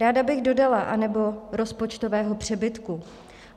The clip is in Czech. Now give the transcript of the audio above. Ráda bych dodala - anebo rozpočtového přebytku.